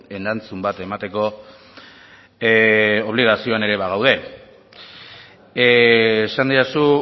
erantzun bat emateko obligazioan ere bagaude esan didazu